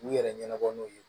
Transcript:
K'u yɛrɛ ɲɛnabɔ n'u ye